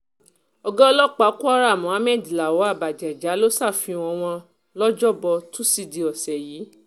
ọ̀gá ọlọ́pàá kwara muhammed lawal bagega ló ṣàfihàn wọn lọ́jọ́bọ́ tọ́sídẹ̀ẹ́ ọ̀sẹ̀ yìí